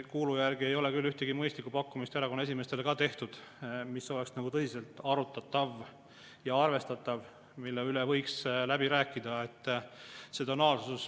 No kuulu järgi ei ole küll erakonna esimeestele tehtud ühtegi mõistlikku pakkumist, mis oleks tõsiselt arutatav ja arvestatav, mille üle võiks läbi rääkida.